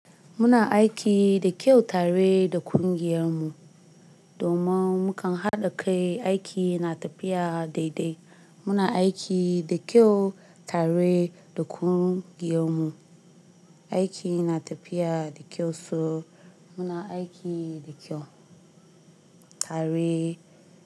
Muna aiki da kyau tare da kungiyar mu domin mu kan haɗa kai, aiki ya na tafiya daidai. Muna aiki da kyau tare da kungiyar mu, aiki na tafiya da kyau so. Muna aiki da kyau tare.